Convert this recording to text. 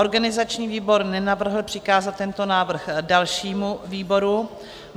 Organizační výbor nenavrhl přikázat tento návrh dalšímu výboru.